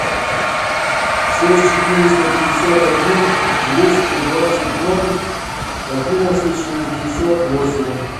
шесть четыреста пятьдесят один двести двадцать ноль одиннадцать шестьдесят восемь